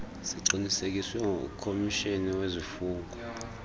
ziqinisekiswe ngumkomishinala wezifungo